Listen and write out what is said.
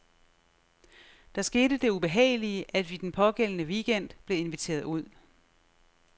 Der skete det ubehagelige, at vi den pågældende weekend blev inviteret ud.